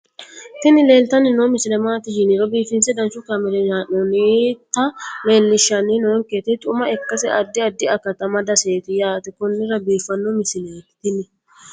tini leeltanni noo misile maaati yiniro biifinse danchu kaamerinni haa'noonnita leellishshanni nonketi xuma ikkase addi addi akata amadaseeti yaate konnira biiffanno misileeti tini